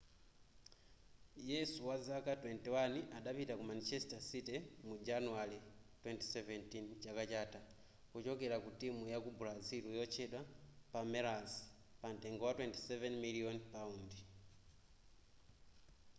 yesu wazaka 21 adapita ku manchester city mu januwale 2017 chaka chatha kuchokera ku timu yaku brazil yotchedwa palmeiras pamtengo wa 27 miliyoni paundi